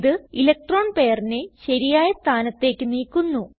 ഇത് ഇലക്ട്രോൺ പെയറിനെ ശരിയായ സ്ഥാനത്തേക്ക് നീക്കുന്നു